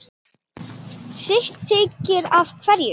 sitt þykir hverjum